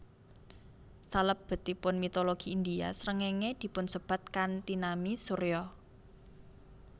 Salebetipun mitologi India srengéngé dipunsebat kanthi nami Surya